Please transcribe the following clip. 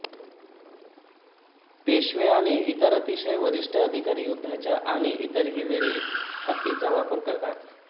पेशवे आणि इतर अतिशय वरिष्ठ अधिकारी युद्धाच्या आणि इतरही वेळी हत्तींचा वापर करतात